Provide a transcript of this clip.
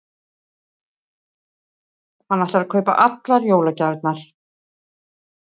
Hann ætlar að kaupa allar jólagjafirnar.